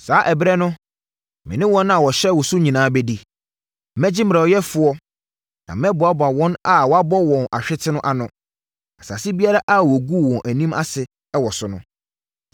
Saa ɛberɛ no me ne wɔn a wɔhyɛɛ wo so nyinaa bɛdi; Mɛgye mmerɛyɛfoɔ na mɛboaboa wɔn a wɔabɔ wɔn ahwete no ano. Mɛkamfo wɔn ahyɛ wɔn animuonyam asase biara a wɔguu wɔn anim ase wɔ so no so.